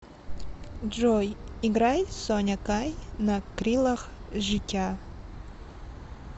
джой играй соня кай на крилах життя